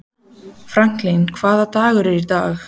Franklin, hvaða dagur er í dag?